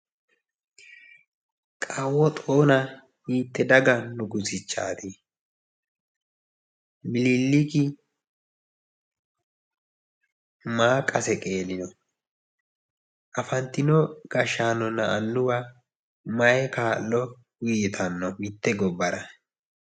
Kawo xona hiitte daga nugusichaati? Miniliki maa qase qeelino? afanitino gashaanona annuwa mayi kaa'lo uyitanno mitte gobbara?